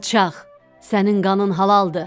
“Alçaq, sənin qanın halaldır!